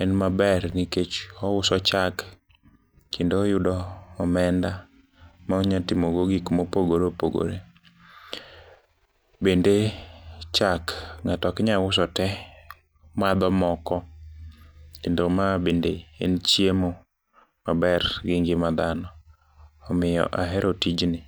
en maber nikech ouso chak kendo oyudo omenda maonya timogo gikma opogore opogore, bende chak ng'ato oknyauso te, madho moko kendo ma bende en chiemo maber gi ngima dhano, omiyo ahero tijni.